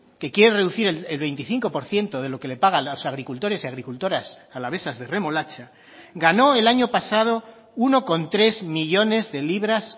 que quiere reducir el veinticinco por ciento de lo que le pagan los agricultores y agricultoras alavesas de remolacha ganó el año pasado uno coma tres millónes de libras